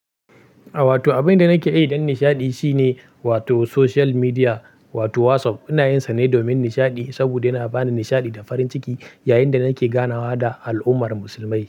A wato abin da nake yi don nishaɗi shine wato social media wato WhatsApp ina yinsa ne domin nishaɗi saboda yana bani nishaɗi da farin ciki yayin da nake ganawa da al'ummar musulmai.